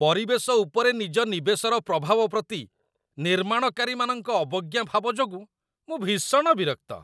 ପରିବେଶ ଉପରେ ନିଜ ନିବେଶର ପ୍ରଭାବ ପ୍ରତି ନିର୍ମାଣକାରୀମାନଙ୍କ ଅବଜ୍ଞା ଭାବ ଯୋଗୁଁ ମୁଁ ଭୀଷଣ ବିରକ୍ତ।